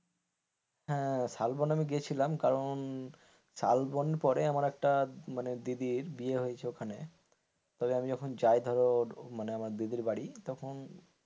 হ্যাঁ শালবন আমি গেছিলাম কারণ শালবন পরে আমার একটা মানে দিদির বিয়ে হয়েছে ওখানে তো আমি যখন যাই ধর আমার দিদির বাড়ি তখন,